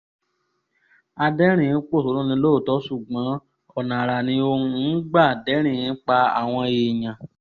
adẹ́rìn-ín pọ́ṣónù ni lóòótọ́ ṣùgbọ́n ọ̀nà àrà ni òun ń gbà dẹ́rìn-ín pa àwọn èèyàn